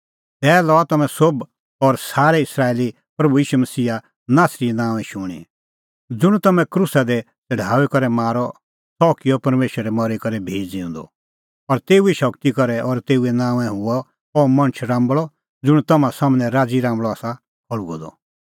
तै लआ तम्हैं सोभ और सारै इस्राएली प्रभू ईशू मसीहा नासरीए नांओंए शूणीं ज़ुंण तम्हैं क्रूसा दी छ़ड़ाऊई करै मारअ सह किअ परमेशरै मरी करै भी ज़िऊंदअ और तेऊए शगती करै और तेऊए नांओंए हुअ अह मणछ राम्बल़अ ज़ुंण तम्हां सम्हनै राज़ी राम्बल़अ आसा खल़्हुअ द